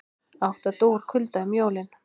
Átta dóu úr kulda um jólin